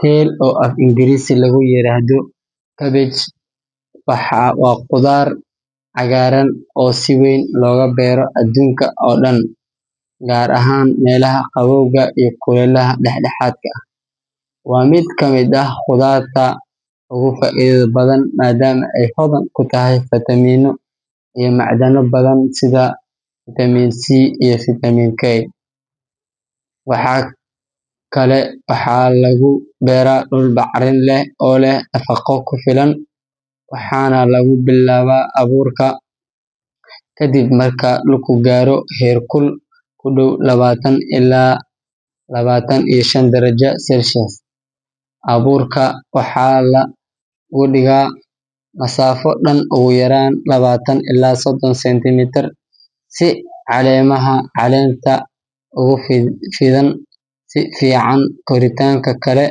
Kale, oo af-Ingiriisi lagu yiraahdo cabbage, waa khudaar cagaaran oo si weyn looga beero adduunka oo dhan, gaar ahaan meelaha qabowga iyo kulaylaha dhexdhexaadka ah. Waa mid ka mid ah khudaarta ugu faa’iidada badan, maadaama ay hodan ku tahay fiitamiinno iyo macdano badan sida fitamiin C iyo fitamiin K. Kale waxaa lagu beeraa dhul bacrin leh oo leh nafaqo ku filan, waxaana lagu bilaabaa abuurka kadib marka dhulku gaaro heerkul ku dhow labaatan ilaa labaatan iyo shan darajo Celsius. Abuurka waxaa la dhigaa masaafo dhan ugu yaraan labaatan ilaa soddon sentimitir si caleemaha caleenta ugu fidaan si fiican. Koritaanka kale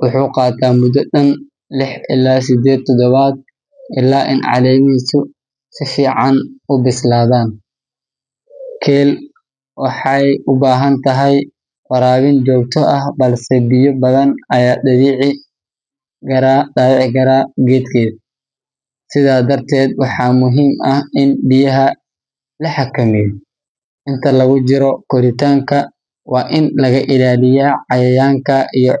wuxuu qaataa muddo dhan lix ilaa siddeed toddobaad ilaa in caleemihiisu si fiican u bislaadaan. Kale waxay u baahan tahay waraabin joogto ah, balse biyo badan ayaa dhaawici kara geedka, sidaa darteed waxaa muhiim ah in biyaha la xakameeyo. Inta lagu jiro koritaanka, waa in laga ilaaliyo cayayaanka iyo.